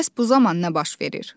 Bəs bu zaman nə baş verir?